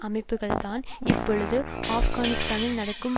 அமைப்புக்கள்தான் இப்பொழுது ஆப்கானிஸ்தானில் நடக்கும்